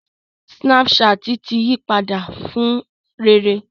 Snapchat ti yí padà fún rere